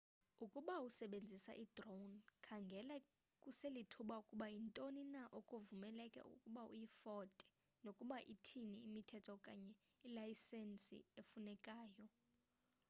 ukuba usebenzisa i-drone khangela kuselithuba ukuba yintoni na okuvumeleke ukuba uyifote nokuba ithini imithetho okanye ilayisenisi efunekayo